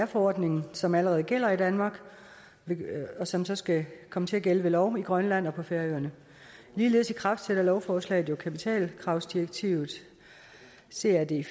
forordningen som allerede gælder i danmark og som så skal komme til at gælde ved lov i grønland og på færøerne ligeledes ikraftsætter lovforslaget jo kapitalkravsdirektivet crd